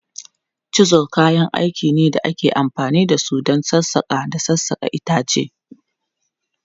Chisels kayan aiki ne da ake amfani da su don sassaƙa da sassaƙa itace.